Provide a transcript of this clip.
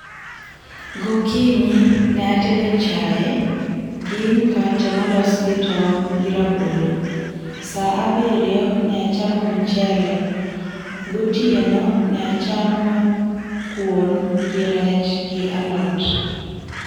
Gokinyi ne atedo chae gi mkate molos gi tong' gi rabolo, saa abiriyo ne achamo mchele, gotieno ne achamo kuon gi rech gi alot.